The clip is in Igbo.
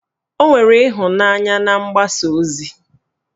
Ọ nwere ịhụnanya na mgbasa ozi